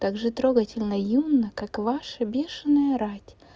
также трогательно юнна как и ваша бешеная рать